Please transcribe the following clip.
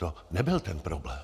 To nebyl ten problém.